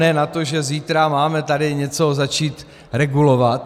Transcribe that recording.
Ne na to, že zítra máme tady něco začít regulovat.